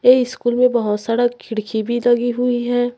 ये स्कूल में बहुत सारा खिड़की भी लगी हुई है।